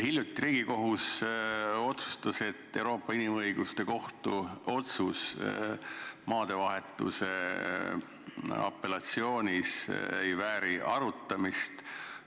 Hiljuti Riigikohus otsustas, et Euroopa Inimõiguste Kohtu otsus maadevahetuse apellatsioonis ei vääri arutamist.